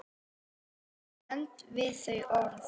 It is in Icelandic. Ég stend við þau orð.